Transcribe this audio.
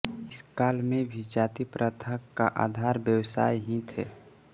इस काल में भी जाति प्रथा का आधार व्यवसाय ही थे